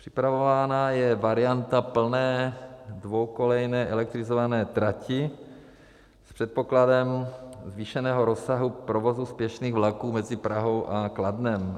Připravována je varianta plné dvoukolejné elektrizované trati s předpokladem zvýšeného rozsahu provozu spěšných vlaků mezi Prahou a Kladnem.